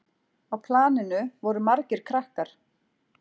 Á planinu voru margir krakkar.